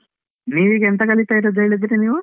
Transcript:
ನೀವ್ ಈಗ ಎಂತ ಕಲಿತ ಇರುದು ಅಂತ ಹೇಳಿದ್ರಿ ನೀವ್?